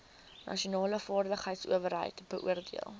nasionale vaardigheidsowerheid beoordeel